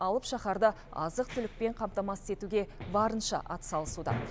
алып шаһарды азық түлікпен қамтамасыз етуге барынша атсалысуда